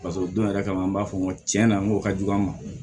paseke o don yɛrɛ kama an b'a fɔ n ko tiɲɛna n ko ka jugu an ma